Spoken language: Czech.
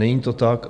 Není to tak.